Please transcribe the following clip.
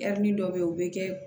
dɔ bɛ yen o bɛ kɛ